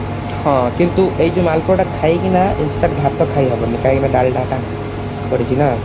ହଁ କିନ୍ତୁ ଏଇ ଯଉ ମାଲପୁଆ ଟା ଖାଇକିନା instant ଭାତ ଖାଇ ହବନି କାହିଁକି ନା ଡାଲଡା ଟା ପଡିଛି ନା